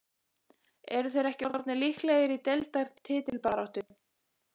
Eru þeir ekki orðnir líklegir í deildar titilbaráttu??